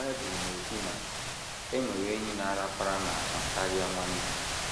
Bible na - ekwu na “ e nwere enyi na - arapara n’ahụ karịa nwanne. ”